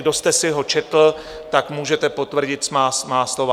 Kdo jste si ho četl, tak můžete potvrdit má slova.